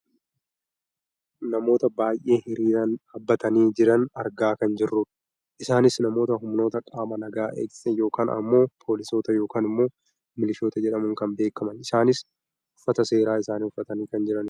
namoota baayyee hiriiraan dhaabbatanii jiran argaa kan jirrudha. isaanis namoota humnoota qaama nagaa eegsisan yookaan ammoo poolisoota yookaan milishoota jedhamuun kan beekkamanidha . isaanis uffata seeraa isaanii uffatanii kan jiranidha.